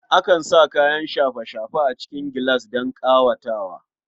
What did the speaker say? Akan sa kayan shafe-shafe a cikin gilas don ƙawatawa.